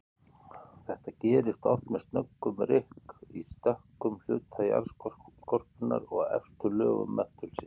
Þetta gerist oft með snöggum rykk í stökkum hluta jarðskorpunnar og efstu lögum möttulsins.